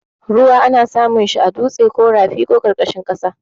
Ruwa ana samun shi a dutse ko rafi ko ƙarƙashin ƙasa.